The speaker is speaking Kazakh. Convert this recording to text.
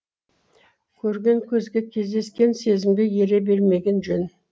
көрген көзге кездескен сезімге ере бермеген жөн